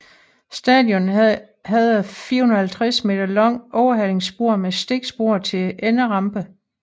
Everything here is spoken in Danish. Stationen havde et 450 meter langt overhalingsspor med stikspor til enderampe